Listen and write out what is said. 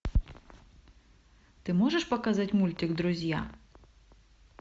ты можешь показать мультик друзья